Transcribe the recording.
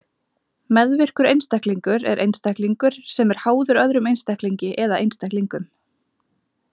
Meðvirkur einstaklingur er einstaklingur sem er háður öðrum einstaklingi eða einstaklingum.